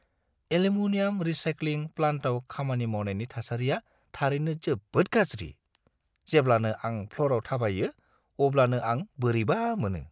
Aluminium recycling प्लान्टआव खामानि मावनायनि थासारिया थारैनो जोबोद गाज्रि, जेब्लानो आं फ्ल'रआव थाबायो अब्लानो आं बोरैबा मोनो।